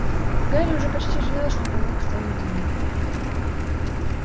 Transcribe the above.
гарри уже почти жалел что проник в тайну дневника